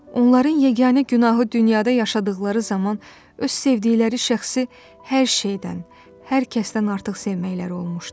Onların yeganə günahı dünyada yaşadıqları zaman öz sevdikləri şəxsi hər şeydən, hər kəsdən artıq sevməkləri olmuşdu.